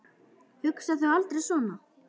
Hugsar þú aldrei svona?